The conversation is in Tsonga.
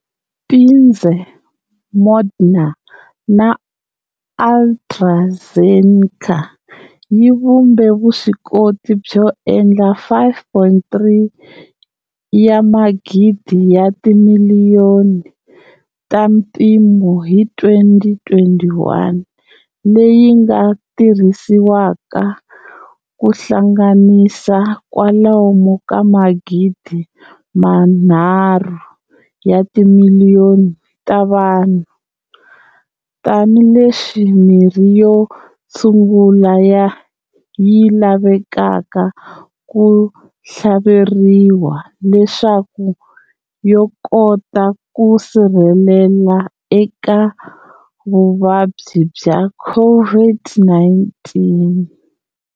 Pfizer, Moderna, na AtraZeneca yi vhumbe vuswikoti byo endla 5,3 wa magidi ya timiliyoni ta mimpimo hi 2021, leyi nga tirhisiwaka ku hlanganisa kwalomu ka magidi manharhu ya timiliyoni ta vanhu, tanihi leswi mirhi yo tshungula yi lavekaka ku thlaveriwa leswaku yo kota ku sirhelela eka vuvabyi bya COVID-19